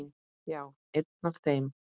Já, einn af þeim